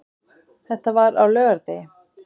Þetta var á laugardegi.